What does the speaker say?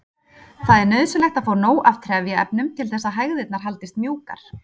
Það er nauðsynlegt að fá nóg af trefjaefnum til þess að hægðirnar haldist mjúkar.